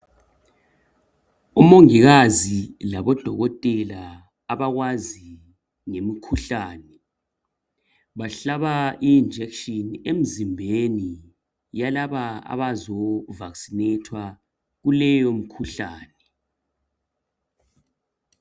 Umongikazi labodokotela abakwazi imikhuhlane, bahlaba ijekiseni emzimbeni yalabo abazovakisinethwa kuleyo mikhuhlane.